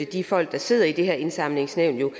de folk der sidder i det her indsamlingsnævn jo